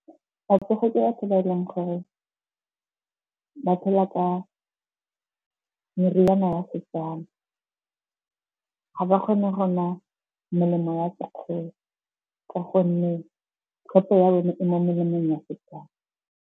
Batsofe ke batho ba e leng gore ba phela ka meriana ya seTswana. Ga ba kgone go nwa melemo ya sekgowa ka gonne tlhompho ya bone e mo melemong ya seTswana.